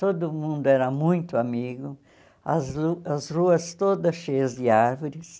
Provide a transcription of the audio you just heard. Todo mundo era muito amigo, as lu as ruas todas cheias de árvores.